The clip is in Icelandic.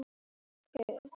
Mér er orða vant.